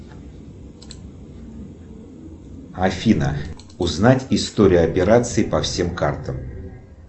афина узнать историю операций по всем картам